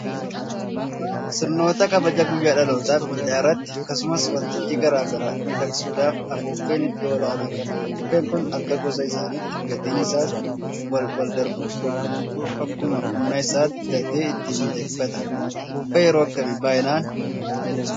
Sirnoota kabaja guyyaa dhalootaafi Cidha irratti akkasumas waltajjii garaa garaa miidhagsuudhaaf Afuuffeen iddoo olaanaa qaba. Afuuffeen kun akka gosa isaatti gatiin isaas waanwaldarbuuf huduu akkuma humna isaatti bitatee ittiin miidhagfata. Afuuffee yeroo akkamii baay'inaan itti fayyadamama?